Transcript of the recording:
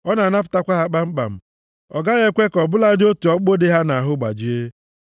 Ọ na-anapụtakwa ha kpamkpam. Ọ gaghị ekwe ka ọ bụladị otu ọkpụkpụ dị ha nʼahụ gbajie.